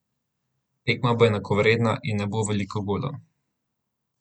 Tekma bo enakovredna in ne bo veliko golov.